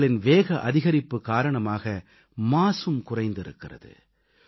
டிரக்குகளின் வேக அதிகரிப்பு காரணமாக மாசும் குறைந்திருக்கிறது